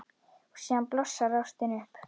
Og síðan blossar ástin upp.